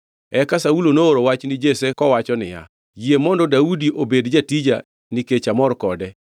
Eka Saulo nooro wach ni Jesse, kowacho niya, “Yie mondo Daudi obed jatija, nikech amor kode.”